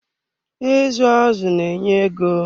Izu azụ na enye ego.